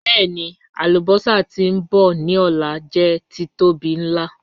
Bẹẹni, alubosa ti nbọ ni ọla jẹ titobi nla.